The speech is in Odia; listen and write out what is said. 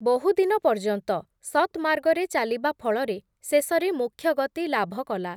ବହୁଦିନ ପର୍ଯ୍ୟନ୍ତ, ସତ୍ ମାର୍ଗରେ ଚାଲିବା ଫଳରେ, ଶେଷରେ ମୋକ୍ଷଗତି ଲାଭ କଲା ।